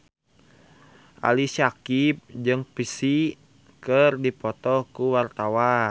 Ali Syakieb jeung Psy keur dipoto ku wartawan